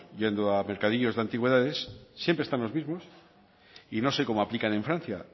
yendo a mercadillos de antigüedades siempre están los mismos y no sé cómo aplican en francia